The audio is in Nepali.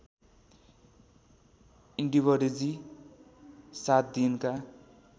इन्डिवरजी सात दिनका